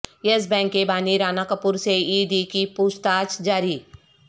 یس Bank کے بانی رانا کپور سے ای ڈی کی پوچھ تاچھ جاری